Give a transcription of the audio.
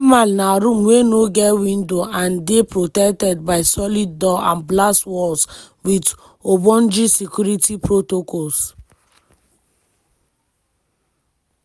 di hamal na room wey no get window and dey protected by solid door and blast walls wit ogbonge security protocols.